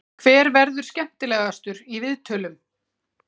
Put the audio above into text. Hver verður skemmtilegastur í viðtölum?